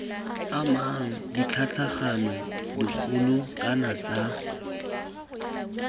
amang ditlhatlhamano dikgolo kana tsa